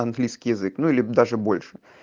английский язык ну или даже больше